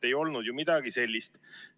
Ei olnud ju midagi sellist.